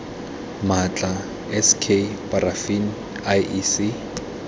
maatla s k parafini iec